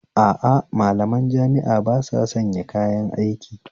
A a, malaman jami'a ba sasanya kayan aiki